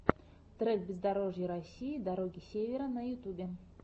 трек бездорожья россии дороги севера на ютьюбе